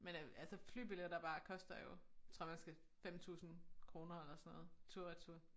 Men øh altså flybilletter bare koster jo tror man skal 5 tusind kroner eller sådan noget tur-retur